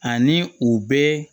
Ani u bɛ